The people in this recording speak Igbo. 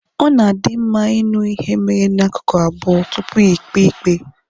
Ọ na adị mma ịṅụ ihe mere na ákụkụ abụọ tupu íkpè ikpe